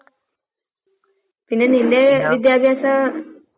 ആഹ്. Up